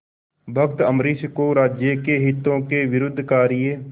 भक्त अम्बरीश को राज्य के हितों के विरुद्ध कार्य